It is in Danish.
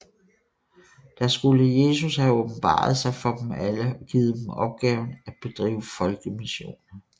Der skulle Jesus have åbenbaret sig for dem alle og givet dem opgaven at bedrive folkemission